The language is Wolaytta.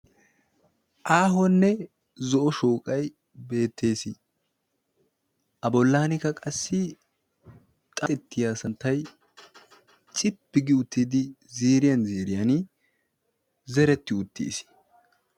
Aahoonne zo'o shooqay beettees. a bollaanikka qassi xatettiya santtay cippi gi uttiddi ziriyan ziriyan zeretti uttiis.